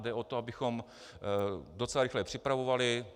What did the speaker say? Jde o to, abychom docela rychle připravovali.